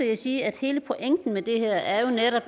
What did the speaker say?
jeg sige at hele pointen med det her jo netop